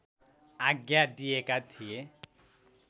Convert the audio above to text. आज्ञा दिएका थिए